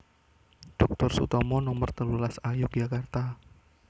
Doktor Sutomo Nomer telulas A Yogyakarta